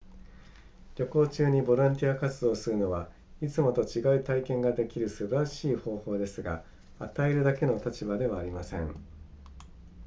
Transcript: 旅行中にボランティア活動をするのはいつもと違う体験ができる素晴らしい方法ですが与えるだけの立場ではありません